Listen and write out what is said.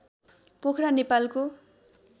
पोखरा नेपालको